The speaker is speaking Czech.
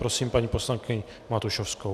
Prosím paní poslankyni Matušovskou.